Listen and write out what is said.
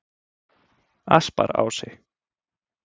Asparási